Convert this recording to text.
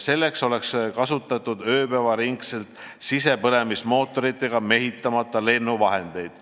Selleks oleks ööpäev läbi kasutatud sisepõlemismootoriga mehitamata lennuvahendeid.